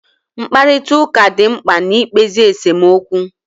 Mkparịtaụka dị mkpa na-ikpezi esomokwu